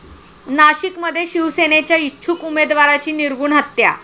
नाशिकमध्ये शिवसेनेच्या इच्छुक उमेदवाराची निर्घृण हत्या